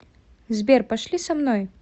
сбер пошли со мной